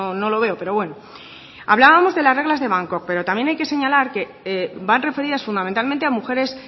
no lo veo pero bueno hablábamos de las reglas de bangkok pero también hay que señalar que van referidas fundamentalmente a mujeres